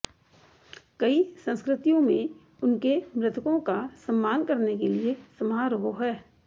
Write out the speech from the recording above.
कई संस्कृतियों में उनके मृतकों का सम्मान करने के लिए समारोह हैं